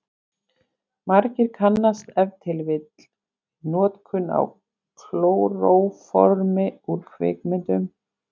Margir kannast ef til vill við notkun á klóróformi úr kvikmyndum.